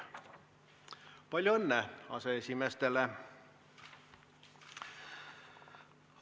Palju õnne aseesimeestele!